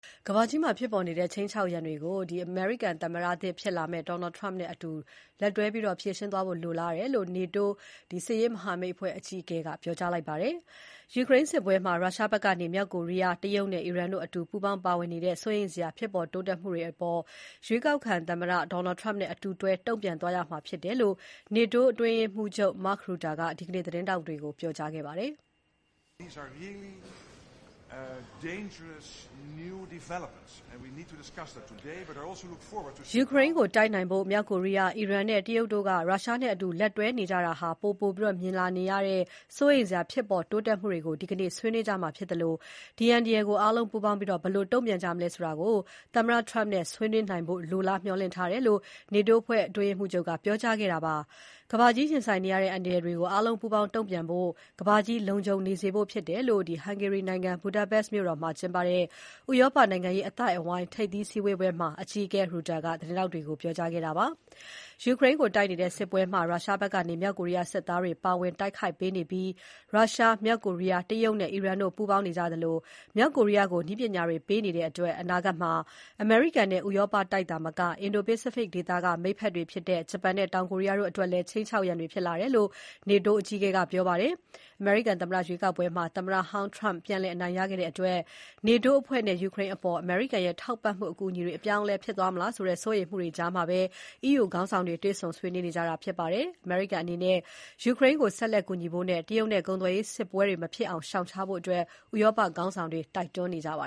ကမ္ဘာကြီးမှာဖြစ်ပေါ်နေတဲ့ ခြိမ်းခြောက်ရန်တွေကို အမေရိကန်သမ္မတသစ်နဲ့ ပူးပေါင်းဖြေရှင်းသွားဖို့ လိုလားတယ်လို့ NATO စစ်ရေးမဟာမိတ်အဖွဲ့ အကြီးအကဲက ပြောကြားလိုက်ပါတယ်။ ယူကရိန်းစစ်ပွဲမှာ ရုရှားဘက်ကနေ မြောက်ကိုရီးယား၊ တရုတ်နဲ့အီရန်တို့ အတူပူးပေါင်းပါဝင်နေတဲ့ စိုးရိမ်စရာဖြစ်ပေါ် တိုးတက်မှုတွေအပေါ် ရွေးကောက်ခံသမ္မတ Donald Trump နဲ့အတူတွဲ တုံ့ပြန်သွားရမှာဖြစ်တယ်လို့ NATO အတွင်းရေးမှူးချုပ် Mark Rutte က ဒီနေ့ သတင်းထောက်တွေကို ပြောကြားခဲ့ပါတယ်။ ယူကရိန်းကိုတိုက်နိုင်ဖို့ မြောက်ကိုရီယား၊ အီရန်နဲ့တရုတ်တို့က ရုရှားနဲ့အတူလက်တွဲနေကြတာ ပိုပိုပြီး မြင်နေရတဲ့ စိုးရိမ်စရာ ဖြစ်ပေါ်တိုးတက်မှုတွေကို ဒီနေ့ ဆွေးနွေးကြမှာဖြစ်သလို ဒီအန္တရာယ်ကို အားလုံးပူးပေါင်းပြီး ဘယ်လိုတုံ့ပြန်ကြမလဲဆိုတာ သမ္မတ Trump နဲ့ ဆွေးနွေးနိုင်ဖို့ လိုလား မျှော်လင့်ထားတယ်လို့ NATO အတွင်းရေးမှူးချုပ်က ပြောကြားခဲ့တာဖြစ်ပါတယ်။ ကမ္ဘာကြီးရင်ဆိုင်နေရတဲ့အန္တရာယ်တွေကို အားလုံးပူးပေါင်း တုံ့ပြန်ဖို့နဲ့ ကမ္ဘာကြီးလုံခြုံနေစေဖို့ ဖြစ်တယ်လို့ Hungary နိုင်ငံ Budapest မြို့တော်မှာ ကျင်းပတဲ့ ဥရောပ နိုင်ငံရေး အသိုက်အဝိုင်း ထိပ်သီးစည်းဝေးပွဲမှာ သတင်းထောက်တွေကို ပြောကြားခဲ့တာဖြစ်ပါတယ်။ ယူကရိန်းကိုတိုက်နေတဲ့ စစ်ပွဲမှာ ရုရှားဘက်ကနေ မြောက်ကိုရီးယားစစ်သားတွေ ပါဝင်တိုက်ခိုက်ပေးနေပြီး ရုရှား၊ မြောက်ကိုရီးယား၊ တရုတ်နဲ့ အီရန်တို့ ပူးပေါင်းနေကြသလို မြောက်ကိုရီးယားကို နည်းပညာတွေ ပေးနေကြတဲ့အတွက် အနာဂတ်မှာ အမေရိကန်နဲ့ ဥရောပတိုက်သာမက အင်ဒိုပိစိဖိတ်ဒေသက မိတ်ဖက်တွေဖြစ်ကြတဲ့ ဂျပန်နဲ့ တောင်ကိုရီးယားအတွက်လည်း ခြိမ်ခြောက်ရန်တွေဖြစ်လာတယ်လို့ NATO အကြီးအကဲက ပြောကြားခဲ့ပါတယ်။ အမေရိကန်သမ္မတရွေးကောက်ပွဲမှာ သမ္မတဟောင်း Trump ပြန်လည်အနိုင်ရခဲ့တဲ့အတွက် NATO အဖွဲ့နဲ့ ယူကရိန်းအပေါ် အမေရိကန်ရဲ့ ထောက်ပံ့မှုအကူအညီတွေ အပြောင်းအလဲဖြစ်သွားမလားဆိုတဲ့ စိုးရိမ်မှုတွေကြားမှာ EU ခေါင်းဆောင်တွေ တွေ့ဆုံဆွေးနွေးနေကြတာဖြစ်ပါတယ်။ အမေရိကန်အနေနဲ့ ယူကရိန်းကို ဆက်လက် ကူညီဖို့နဲ့ တရုတ်နဲ့ ကုန်သွယ်ရေးစစ်ပွဲတွေ မဖြစ်အောင် ရှောင်ရှားဖို့ ဥရောပခေါင်းဆောင်တွေက တိုက်တွန်းနေကြပါ